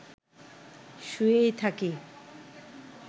শুয়েই থাকি